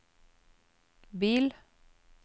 bil